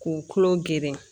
K'u tulo geren